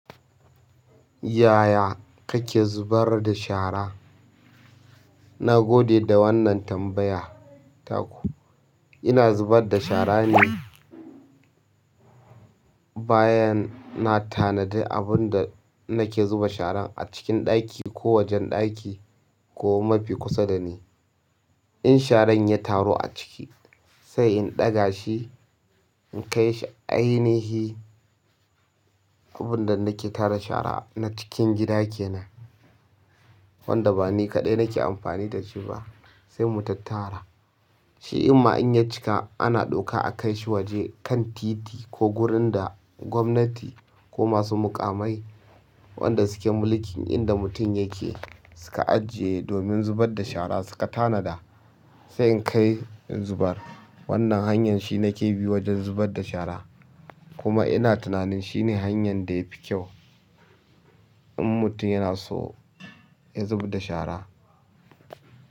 Yaya kake zubar da shara? Na gode da wannan tambaya ta ku. Ina zubar da shara ne bayan na tanadi abun da nake zuba sharan a cikin ɗaki ko wajen ɗaki ko mafi kusa da ni. In sharan ya taru a ciki sai in ɗaga shi in kai shi ainihi abun da nake tara shara na cikin gida kenan wanda ba ni kaɗai nake amfani da shi ba sai mu tattara. Shi ɗinma in ya cika ana ɗauka a kai shi waje kan titi ko wurin da gwamnati ko masu mukamai wanda suke mulkin inda mutum yake suka ajiye domin zubar da shara suka tanada sai in kai in zubar. Wannan hanyar shine ke bi wajen zubar da shara kuma ina tunanin shine hanyar da yafi kyau in mutum yana so ya zubar da shara.